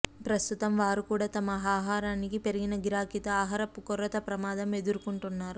ప్రస్తుతం వారు కూడా తమ ఆహారానికి పెరిగిన గిరాకీతో ఆహార కొరత ప్రమాదం ఎదుర్కొంటున్నారు